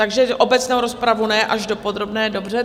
Takže obecnou rozpravu ne, až do podrobné, dobře.